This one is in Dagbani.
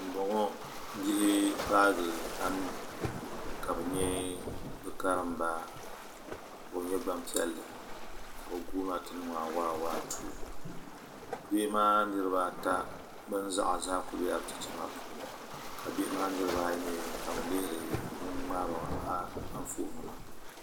Bihi paagi bihi anu ka bi nyɛ bi karimba ka o nyɛ Gbanpiɛli ka bi guuna ti niŋɔ awaawaatuu bihi maa niraba ata bin zaɣ zaa ku biɛla bi chicha maa puuni ka bihi maa niraba ayi mii ka bi lihiri ŋun ŋmaariba anfooni maa